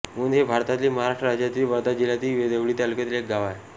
मुंद हे भारतातील महाराष्ट्र राज्यातील वर्धा जिल्ह्यातील देवळी तालुक्यातील एक गाव आहे